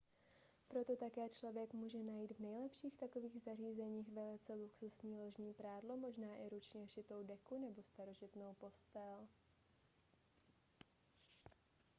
proto také člověk může najít v nejlepších takových zařízeních velice luxusní ložní prádlo možná i ručně šitou deku nebo starožitnou postel